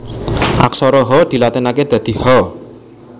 Aksara Ha dilatinaké dadi Ha